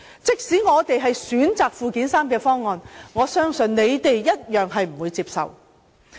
即使我們選擇附件三方案，相信反對派亦同樣不會接受。